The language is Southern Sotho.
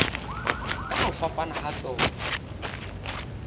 ka ho fapana ha tsona